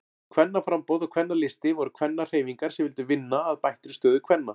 Kvennaframboð og Kvennalisti voru kvennahreyfingar sem vildu vinna að bættri stöðu kvenna.